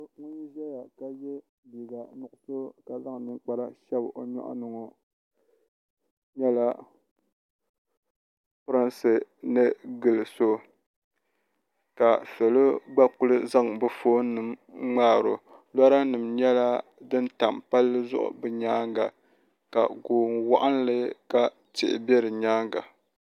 So ŋun zaya ka yɛ liiga nuɣiso ka zaŋ ninkpara shɛb o nyɔɣu ni ŋɔ nyɛla prinsi ni gili so ka salo gba kuli zaŋ bi foon nima ŋmaari o lɔra nima nyɛla din tam palli zuɣu bi nyaanga ka gooni waɣinli ka tihi bɛ bi nyaaŋa .